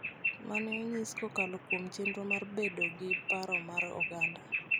ma ne onyis kokalo kuom chenro mar bedo gi paro mar oganda